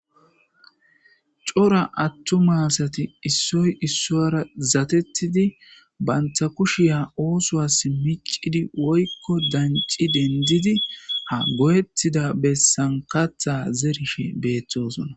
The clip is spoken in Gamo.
cora attu masati issoy issoyra zatettidi bantha kushiya oosoas miccidi woykko danci dendidi ha go7ettida bessan katha zerishe beeththosona